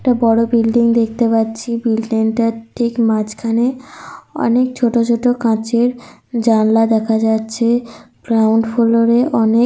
একটা বড় বিল্ডিং দেখতে পাচ্ছি। বিল্ডিং -টা র ঠিক মাঝখানে অনেক ছোটো ছোটো কাচের জানলা দেখা যাচ্ছে। গ্রাউন্ড ফ্লোর -এ অনেক --